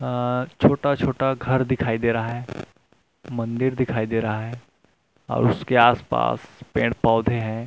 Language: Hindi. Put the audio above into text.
अ छोटा-छोटा घर दिखाई दे रहा है मंदिर दिखाई दे रहा है और उसके आसपास पेड़ पौधे हैं।